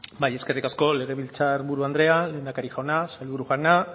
bai eskerrik asko legebiltzar buru andrea lehendakari jauna sailburu jauna